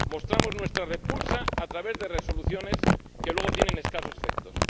Mostramos nuestra repulsa a través de resoluciones que luego tienen escasos efectos.